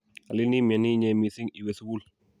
alin imnyani inyee mising iwe sukul